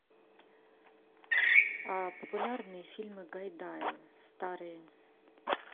популярные фильмы гайдая старые